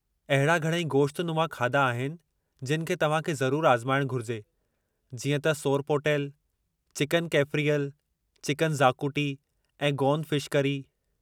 अहिड़ा घणई गोश्तनुमा खाधा आहिनि जिनि खे तव्हां खे ज़रूरु आज़माइणु घुरिजे जीअं त सोरपोटेल, चिकन कैफ़्रियल, चिकन ज़ाकुटी ऐं गौन फिश करी।